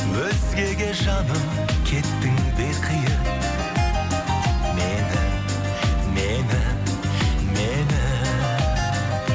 өзгеге жаным кеттің бе қиып мені мені мені